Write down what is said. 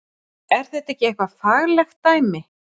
Er þetta ekki eitthvað faglegt dæmi?